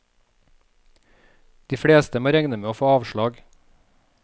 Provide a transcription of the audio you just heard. De fleste må regne med å få avslag.